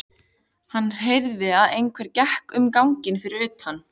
Hann heyrði að einhver gekk um ganginn fyrir utan.